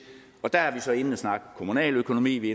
og der er vi så inde at snakke kommunaløkonomi vi